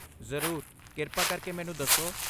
ਜ਼ਰੂਰ, ਕਿਰਪਾ ਕਰਕੇ ਮੈਨੂੰ ਦੱਸੋ।